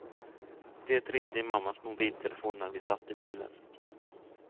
Det ringde i mammas mobiltelefon när vi satt i bilen.